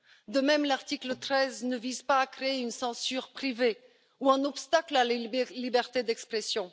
De même, l'article 13 ne vise pas à créer une censure privée ou un obstacle à la liberté d'expression.